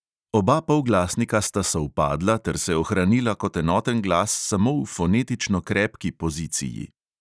Oba polglasnika sta sovpadla ter se ohranila kot enoten glas samo v fonetično krepki poziciji.